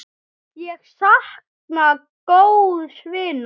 Ég sakna góðs vinar.